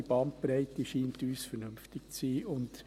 Die Bandbreite scheint uns vernünftig zu sein.